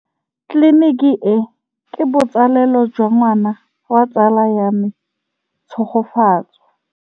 Tleliniki e, ke botsalêlô jwa ngwana wa tsala ya me Tshegofatso.